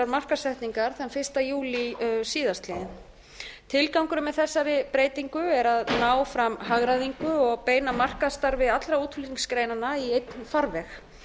markaðssetningar þann fyrsta júlí síðastliinn tilgangurinn með þessari breytingu er að ná fram hagræðingu og beina markaðsstarfi allra útflutningsgreinanna í einn farveg